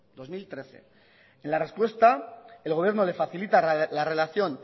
dos mil trece en la respuesta el gobierno le facilita la relación